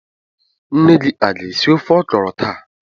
Nne gi a ga-esi ofe ọkrọ taa?